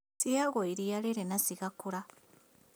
Ciheagwo iriia rĩrĩ na cigakũra